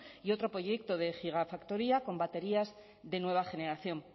y otro proyecto de gigafactoría con baterías de nueva generación